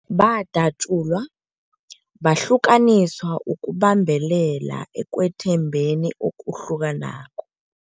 Badatjulwa, bahlukaniswa ukubambelela ekwethembekeni okuhlukanako.